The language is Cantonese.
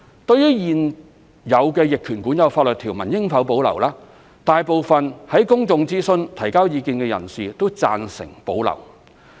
對於現有逆權管有法律條文應否保留，大部分在公眾諮詢提交意見的人士均贊成保留。